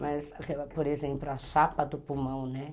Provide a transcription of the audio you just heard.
Mas, por exemplo, a chapa do pulmão, né?